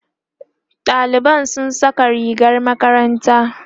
ɗaliban sun Saka rigar makaranta